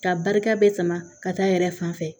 Ka barika bɛ sama ka taa a yɛrɛ fan fɛ